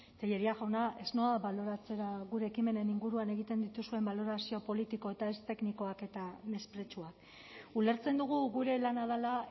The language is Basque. tellería jauna ez noa baloratzera gure ekimenen inguruan egiten dituzuen balorazio politiko eta ez teknikoak eta mespretxua ulertzen dugu gure lana dela